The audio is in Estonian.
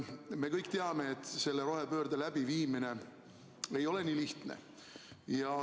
Me kõik teame, et selle rohepöörde läbiviimine ei ole nii lihtne.